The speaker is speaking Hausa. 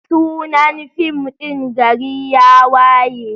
Sunan fim din GARI YA WAYE.